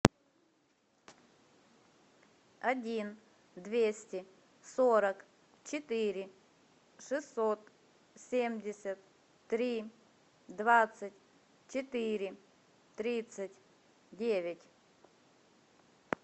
один двести сорок четыре шестьсот семьдесят три двадцать четыре тридцать девять